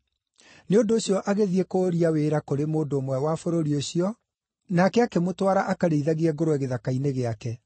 Nĩ ũndũ ũcio agĩthiĩ kũũria wĩra kũrĩ mũndũ ũmwe wa bũrũri ũcio, nake akĩmũtwara akarĩithagie ngũrwe gĩthaka-inĩ gĩake.